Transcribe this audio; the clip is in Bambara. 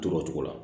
To o cogo la